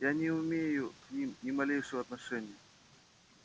я не имею к ним ни малейшего отношения